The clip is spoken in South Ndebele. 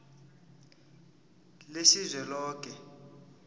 lesizweloke